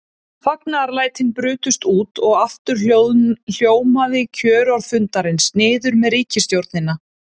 Fagnaðarlætin brutust út og aftur hljómaði kjörorð fundarins: Niður með ríkisstjórnina!